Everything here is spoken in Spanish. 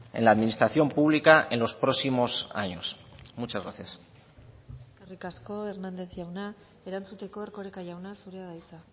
en la administración pública en los próximos años muchas gracias eskerrik asko hernández jauna erantzuteko erkoreka jauna zurea da hitza